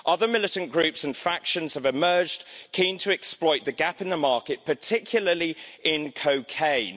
other militant groups and factions have emerged keen to exploit the gap in the market, particularly in cocaine.